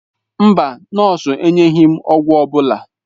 Mba, nọọsụ enyeghị m ọgwụ ọ bụla.